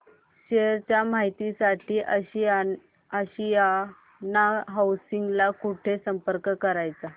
share च्या माहिती साठी आशियाना हाऊसिंग ला कुठे संपर्क करायचा